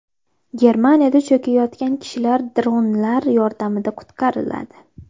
Germaniyada cho‘kayotgan kishilar dronlar yordamida qutqariladi.